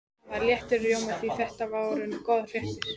Hann var léttur í rómi því þetta voru góðar fréttir.